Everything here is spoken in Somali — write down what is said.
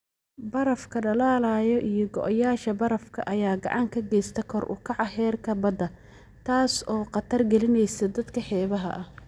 Barafka dhalaalaya iyo go'yaasha barafka ayaa gacan ka geysta kor u kaca heerka badda, taas oo khatar gelinaysa dadka xeebaha ah.